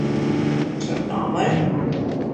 Črnomelj.